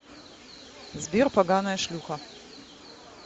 сбер поганая шлюха